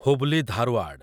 Hubli Dharwad